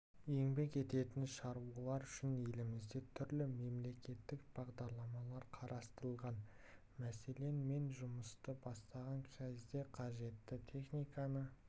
еңбек ететін шаруалар үшін елімізде түрлі мемлекеттік бағдарламалар қарастырылған мәселен мен жұмысты бастаған кезде қажетті техниканы